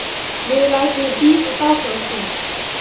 Guð lætur mig bíða dágóða stund.